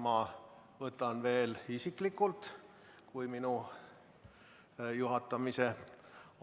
Ma võtan veel isiklikult, kui minu juhatamise